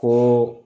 Ko